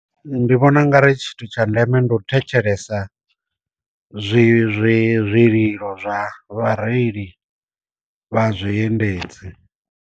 Ndi vhona u nga ri tshithu tsha ndeme ndi u thetshelesa zwi zwi zwililo zwa vhareili vha zwi endedzi.